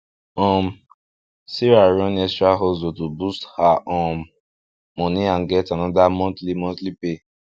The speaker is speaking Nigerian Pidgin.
um sarah run extra hustle to boost her um money and get another monthly monthly pay